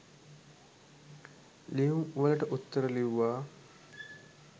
ලියුම්වලට උත්තර ලිව්වා